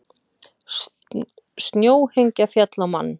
Snjóhengja féll á mann